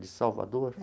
De Salvador?